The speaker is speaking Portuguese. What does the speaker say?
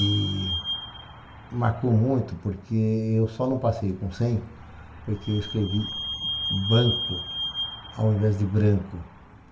E marcou muito, porque eu só não passei com cem, porque eu escrevi banco ao invés de branco.